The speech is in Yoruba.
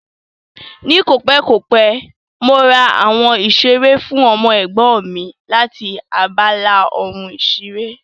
Ní kòpẹ́ kòpẹ́, mo ra àwọn ìṣeré fún ọmọ Ẹ̀gbọ́n mi láti abala ohun ìṣeré